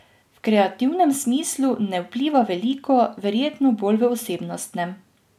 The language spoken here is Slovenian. V kreativnem smislu ne vpliva veliko, verjetno bolj v osebnostnem.